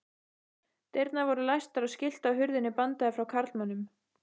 Dyrnar voru læstar og skilti á hurðinni bandaði frá karlmönnum.